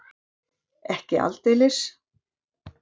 Ekki aldeilis.